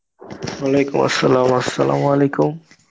Arbi